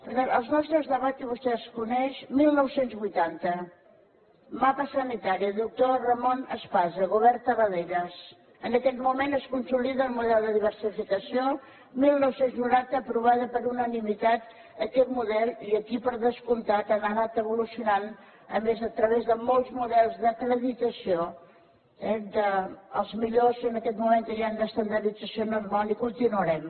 per tant els nostres debats i vostè els coneix dinou vuitanta mapa sanitari doctor ramon espasa govern tarradellas en aquell moment es consolida el model de diversificació dinou noranta aprovat per unanimitat aquest model i aquí per descomptat han anat evolucionant a més a través de molts models d’acreditació eh dels millors en aquest moment que hi han d’estandardització en el món i continuarem